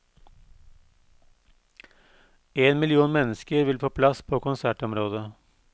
En million mennesker vil få plass på konsertområdet.